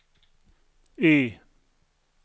Y